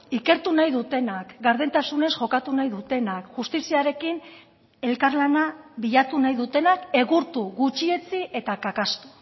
ikertu nahi dutenak gardentasunez jokatu nahi dutenak justiziarekin elkarlana bilatu nahi dutenak egurtu gutxietsi eta kakaztu